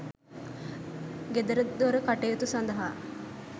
ගෙදරදොර කටයුතු සඳහා